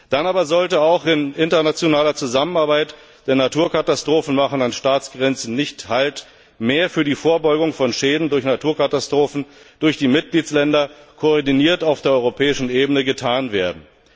Dann aber sollte auch in internationaler Zusammenarbeit denn Naturkatastrophen machen an Staatsgrenzen nicht Halt mehr für die Vorbeugung von Schäden durch Naturkatastrophen durch die Mitgliedstaaten, koordiniert auf der europäischen Ebene, getan werden.